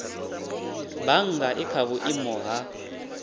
bannga i kha vhuimo ha